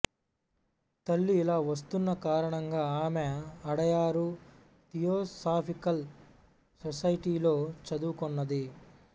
తల్లి ఇలా వస్తున్న కారణంగా ఆమె అడయారు థియోసాఫికల్ సొసైటీలో చదువుకొన్నది